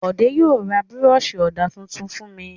Bọ̀dé yóò ra búrọ́ṣì ọ̀dà tuntun fún mi.